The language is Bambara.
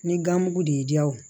Ni gamugu de y'i diya o